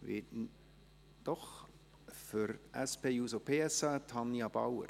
Für die SP-JUSO-PSA spricht Tanja Bauer.